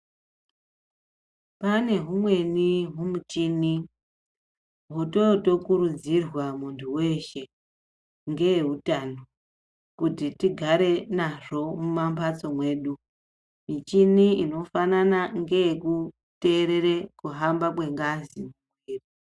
Pane humweni humuchini hwototokurudzirwa munhu weshe ngeutano kuti tigare nazvo mumhambatso mwedu ,michini inofanane ngee kuteerere kuhamba kwengazi.